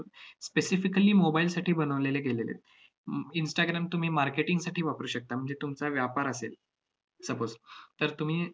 specifically mobile साठी बनवलेले गेलेले आहेत. हम्म instagram तुम्ही marketing साठी वापरू शकता. म्हणजे तुमचा व्यापार असेल, suppose तर तुम्ही